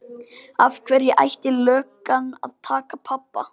Af hverju ætti löggan að taka pabba?